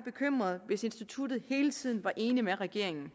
bekymret hvis instituttet hele tiden var enig med regeringen